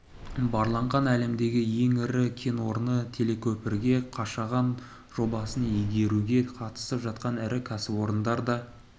барланған әлемдегі ең ірі кен орны телекөпірге қашаған жобасын игеруге қатысып жатқан ірі кәсіпорындар да